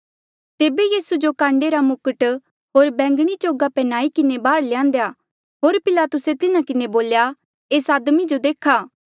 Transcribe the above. तेबे यीसू जो काण्डे रा मुकट होर बैंगणी चोगा पन्ह्याई किन्हें बाहर ल्यान्देया होर पिलातुसे तिन्हा किन्हें बोल्या एस आदमी जो देखा